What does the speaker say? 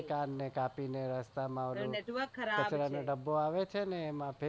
તારો કાન કાપી ને કચરાના ડબ્બા માં નાખી દે જે.